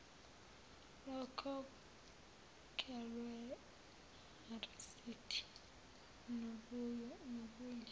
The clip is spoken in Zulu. lokhokhelwe namarisidi nobunye